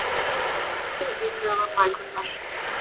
Messi í sögubækurnar